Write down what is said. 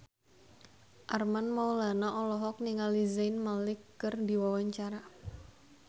Armand Maulana olohok ningali Zayn Malik keur diwawancara